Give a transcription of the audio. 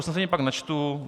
Usnesení pak načtu.